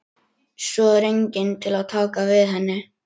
Svo er enginn til að taka við henni.